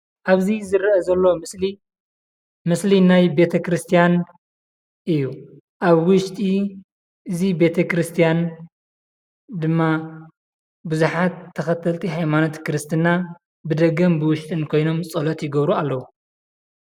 ኣብዚ ዝርአ ዘሎ ምስሊ ምስሊ ናይ ቤተ ክርስቲያን እዩ፡፡ ኣብ ውሽጢ እዚ ቤተ ክርስቲያን ድማ ብዙሓት ተኸተልቲ ሃይማኖት ክርስትና ብደገን ብውሽጥን ኮይኖም ፀሎት ይገብሩ ኣለዉ፡፡